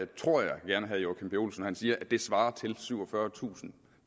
tror jeg gerne herre joachim b olsen når han siger at det svarer til syvogfyrretusind